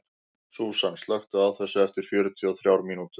Súsan, slökktu á þessu eftir fjörutíu og þrjár mínútur.